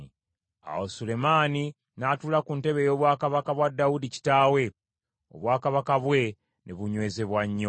Awo Sulemaani n’atuula ku ntebe ey’obwakabaka bwa Dawudi kitaawe, obwakabaka bwe ne bunywezebwa nnyo.